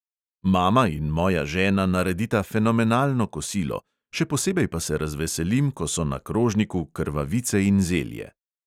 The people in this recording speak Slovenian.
Mama in moja žena naredita fenomenalno kosilo, še posebej pa se razveselim, ko so na krožniku krvavice in zelje.